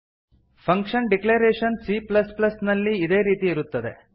function declaration C plus plus ನಲ್ಲಿ ಇದೇ ರೀತಿ ಇರುತ್ತದೆ